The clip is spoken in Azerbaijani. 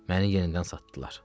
Məni yenidən satdılar.